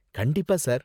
கண்டிப்பா சார்.